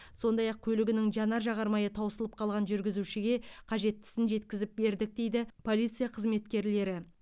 сондай ақ көлігінің жанар жағармайы таусылып қалған жүргізушіге қажеттісін жеткізіп бердік дейді полиция қызметкерлері